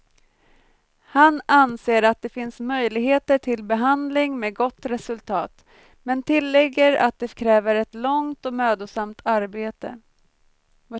Han anser att det finns möjligheter till behandling med gott resultat, men tillägger att det kräver ett långt och mödosamt arbete.